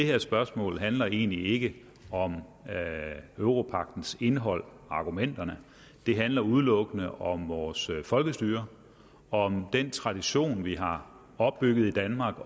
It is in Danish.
her spørgsmål handler egentlig ikke om europagtens indhold og argumenterne det handler udelukkende om vores folkestyre om den tradition vi har opbygget i danmark